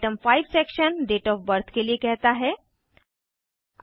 item 5 section date of birth जन्म तारीख के लिए कहता है